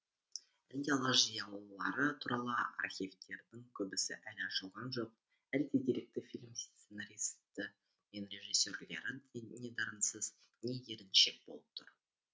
әлде алаш зиялылары туралы архивтердің көбісі әлі ашылған жоқ әлде деректі фильм сценаристері мен режиссерлері не дарынсыз не еріншек болып тұр